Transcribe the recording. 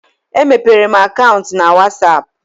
E mepere m akaụntụ na whatsapp